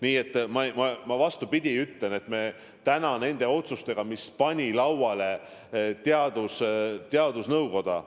Nii et ma ütlen, et need otsused pani lauale teadusnõukoda.